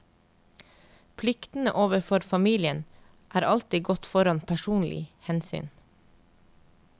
Pliktene overfor familien er alltid gått foran personlig hensyn.